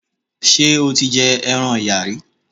Ṣé o ti jẹ ẹran Ọ̀yà rí?